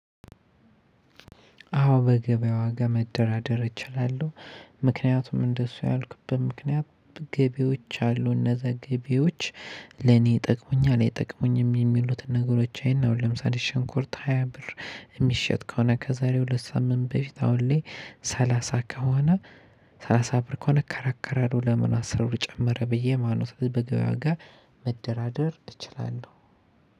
አዎ በገበያ ዋጋ መደራደር እችላለሁ። ምክንያቱም እንደሱ ያልኩበት ምክንያት ገቢዎች አሉ እነዛ ገቢዎች ለኔ ይጠቅመኛል አይጠቅሙኝም የሚሉትን ነገሮች አይና ለምሳሌ ሽንኩርት ሃያ ብር የሚሸጥ ከሆነ ከዛሬ ሁለት ሳምንት በፊት አሁን ላይ ሰላሳ ከሆነ። ሰላሳ ብር ከሆነ እከራከራለሁ ለምን አስር ብር ጨመረ ብዬ ማነው? ስለዚህ በገበያ ዋጋ መደራደር እችላለሁ።